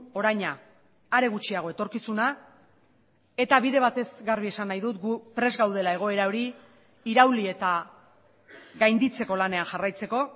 oraina are gutxiago etorkizuna eta bide batez garbi esan nahi dut gu prest gaudela egoera hori irauli eta gainditzeko lanean jarraitzeko